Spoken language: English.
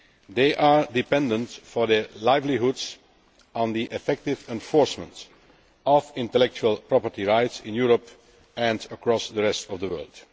They are dependent for their livelihoods on the effective enforcement of intellectual property rights, in Europe and across the rest of the world.